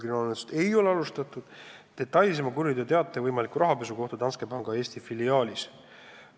Varem on olnud mitu juhtumit, kus tema kuriteoteate peale kriminaalmenetlust ei alustatud.